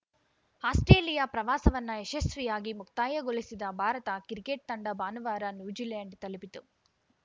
Australia ಪ್ರವಾಸವನ್ನ ಯಶಸ್ವಿಯಾಗಿ ಮುಕ್ತಾಯಗೊಳಿಸಿದ ಭಾರತ ಕ್ರಿಕೆಟ್‌ ತಂಡ ಭಾನುವಾರ ನ್ಯೂಜಿಲೆಂಡ್‌ ತಲುಪಿತು